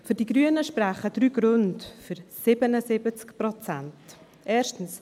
Für die Grünen sprechen drei Gründe für 77 Prozent.